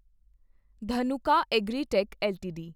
Dhanuka agritech LTD